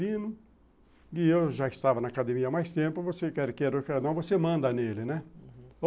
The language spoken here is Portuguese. e eu já estava na academia há mais tempo, você quer queira ou quer não, você manda nele, né? uhum.